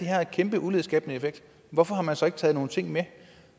har en kæmpe ulighedsskabende effekt hvorfor har man så ikke taget nogle ting med